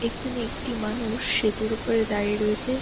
এখানে একটি মানুষ সেতুর ওপরে দাঁড়িয়ে রয়েছে।